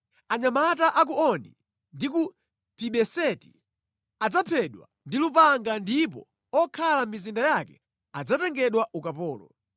Anyamata a ku Oni ndi ku Pibeseti adzaphedwa ndi lupanga ndipo okhala mʼmizinda yake adzatengedwa ukapolo.